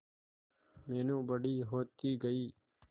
मीनू बड़ी होती गई